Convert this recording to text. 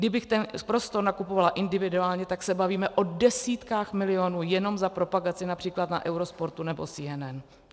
Kdybych ten prostor nakupovala individuálně, tak se bavíme o desítkách milionů jenom za propagaci například na Eurosportu nebo CNN.